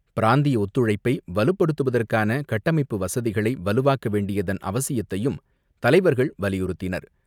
பிராந்திய ஒத்துழைப்பை வலுப்படுத்துவதற்கான கட்டமைப்பு வசதிகளை வலுவாக்க வேண்டியதன் அவசியத்தையும் தலைவர்கள் வலியுறுத்தினர்.